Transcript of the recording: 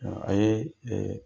A ye